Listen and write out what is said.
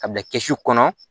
A bila kɛsu kɔnɔ